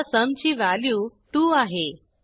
आता सुम ची व्हॅल्यू 2आहे